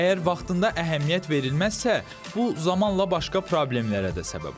Əgər vaxtında əhəmiyyət verilməzsə, bu zamanla başqa problemlərə də səbəb ola bilər.